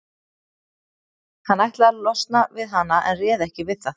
Hann ætlaði að losna við hana en réð ekki við það.